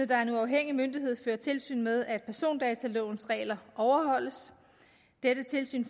der er en uafhængig myndighed fører tilsyn med at persondatalovens regler overholdes dette tilsyn